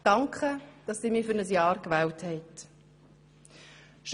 Danke, dass Sie mich für ein Jahr gewählt haben.